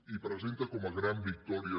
i presenta com a gran victòria